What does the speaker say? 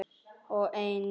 og einnig